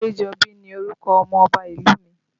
Adejobi ni orúkọ ọmọ Ọba ìlú mi